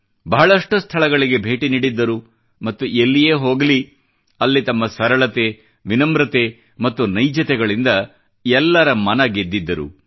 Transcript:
ಬಹಳಷ್ಟು ಸ್ಥಳಗಳಿಗೆ ಭೇಟಿ ನೀಡಿದ್ದರು ಮತ್ತು ಎಲ್ಲಿಯೇ ಹೋಗಲಿ ಅಲ್ಲಿ ತಮ್ಮ ಸರಳತೆ ವಿನಮ್ರತೆ ಮತ್ತು ನೈಜತೆಯಿಂದ ಎಲ್ಲರ ಮನ ಗೆದ್ದಿದ್ದರು